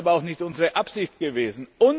Das ist aber auch nicht unsere Absicht gewesen.